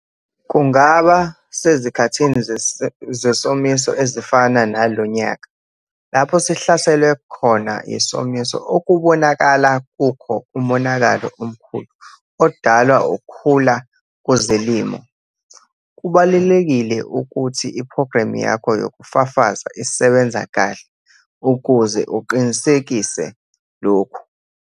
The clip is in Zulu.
Kungaba sezikhathini zesomiso ezifana nalo nyaka lapho sihlaselwe khona yisomiso okubonakala kukho umonakalo omkhulu odalwa ukhula kuzilimo. Kubalulekile ukuthi iphogramu yakho yokufafaza isebenza kahle ukuze uqinisekise lokhu.